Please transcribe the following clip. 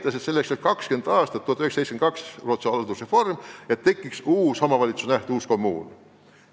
1972. aastal oli Rootsis haldusreform ja Rootsi kogemused on näidanud, et selleks läheb umbes 20 aastat, et tekiks uus kommuun.